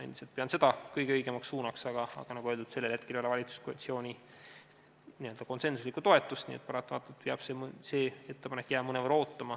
Ma pean seda kõige õigemaks suunaks, aga nagu öeldud, sellele ei ole praegu valitsuskoalitsiooni konsensuslikku toetust, nii et paratamatult peab see ettepanek jääma mõnevõrra ootama.